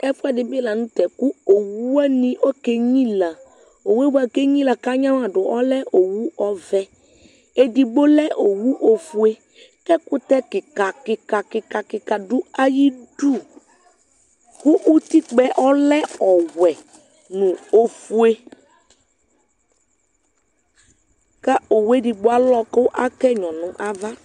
Ɛfu ɛdibi lanu tɛ ku owu wani okenyila owu yɛ bua ku enyilia ku anyamaɖu ɔlɛ owu ɔvɛedigbo lɛ owu ofueku ɛkutɛ kikakikakikakika du ayiʋ iduku utikpə yɛ ɔlɛ ɔwɛ nu ofue ku owu edigbo alɔ ku aka ɛnyɔ nʋ ava